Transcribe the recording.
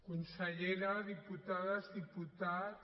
consellera diputades diputats